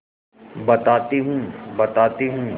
बताती हूँ बताती हूँ